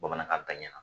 Bamanankan bɛn ɲa